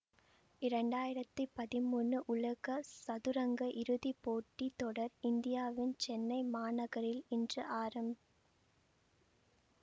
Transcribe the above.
இரண்டாயிரத்தி பதிமூனு உலக சதுரங்க இறுதி போட்டி தொடர் இந்தியாவின் சென்னை மாநகரில் இன்று ஆரம்